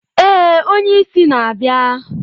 Ee, onye isi na-abịa.